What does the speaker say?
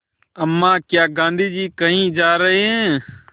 अम्मा क्या गाँधी जी कहीं जा रहे हैं